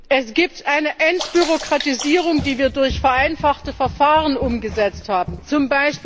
Es gibt eine Entbürokratisierung, die wir durch vereinfachte Verfahren umgesetzt haben,